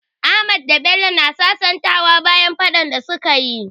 Ahmadu da Bello na sasantawa bayan faɗan da su ka yi.